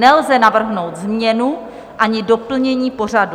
Nelze navrhnout změnu ani doplnění pořadu.